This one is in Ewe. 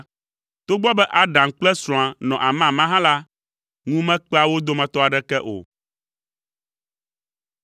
Togbɔ be Adam kple srɔ̃a nɔ amama hã la, ŋu mekpea wo dometɔ aɖeke o.